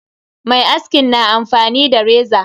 Mai askin na amfani da reza.